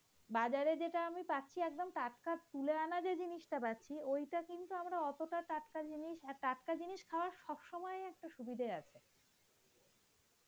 বাজারে যেটা আমি পাচ্ছি একদম টাটকা তুলে আনা যে জিনিসটা পাচ্ছি ওইটা কিন্তু অতটা টাটকা আর টাটকা জিনিস পাওয়া সব সময় একটা সুবিধা আছে.